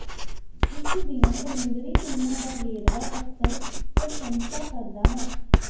ਉਸ ਦੀਆਂ ਸਮੁੰਦਰੀ ਫਿਲਮਾਂ ਦਾ ਵੇਰਵਾ ਅਕਸਰ ਪ੍ਰਸ਼ੰਸਾ ਕਰਦਾ ਹੈ